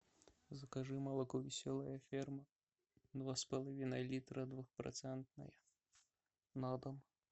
закажи молоко веселая ферма два с половиной литра двухпроцентное на дом